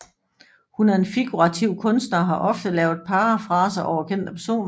Hun er en figurativ kunstner og har ofte lavet parafraser over kendte personer